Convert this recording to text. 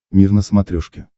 мир на смотрешке